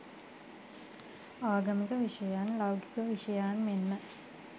ආගමික විෂයයන් ලෞකික විෂයයන් මෙන්ම